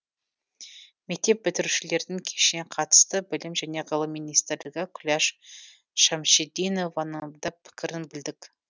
мектеп бітірушілердің кешіне қатысты білім және ғылым министрі күләш шәмшидинованың да пікірін білдік